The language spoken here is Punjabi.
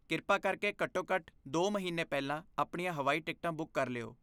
ਕਿਰਪਾ ਕਰਕੇ ਘੱਟੋ ਘੱਟ ਦੋ ਮਹੀਨੇ ਪਹਿਲਾਂ ਆਪਣੀਆਂ ਹਵਾਈ ਟਿਕਟਾਂ ਬੁੱਕ ਕਰ ਲਿਓ